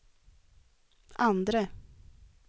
andre